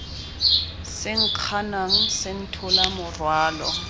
se nkganang se nthola morwalo